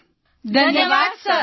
સમૂહ સ્વર ધન્યવાદ સર